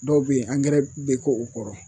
Dɔw be ye angɛrɛ bɛ k'o o kɔrɔ